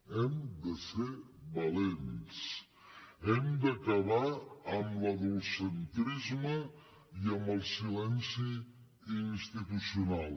hem de ser valents hem d’acabar amb l’adultcentrisme i amb el silenci institucional